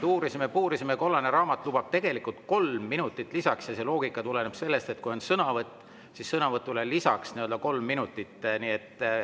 Uurisime-puurisime, kollane raamat lubab tegelikult lisaks 3 minutit ja see loogika tuleneb sellest, et kui on sõnavõtt, siis sõnavõtule lisaks 3 minutit.